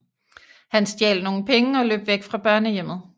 Han stjal nogle penge og løb væk fra børnehjemmet